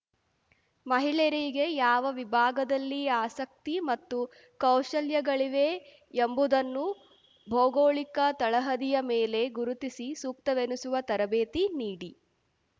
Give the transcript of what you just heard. ಮಹಿಳೆಯರಿಗೆ ಯಾವ ವಿಭಾಗದಲ್ಲಿ ಆಸಕ್ತಿ ಮತ್ತು ಕೌಶಲ್ಯಗಳಿವೆ ಎಂಬುದನ್ನು ಭೌಗೋಳಿಕ ತಳಹದಿಯ ಮೇಲೆ ಗುರುತಿಸಿ ಸೂಕ್ತವೆನಿಸುವ ತರಬೇತಿ ನೀಡಿ